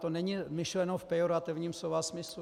To není myšleno v pejorativním slova smyslu.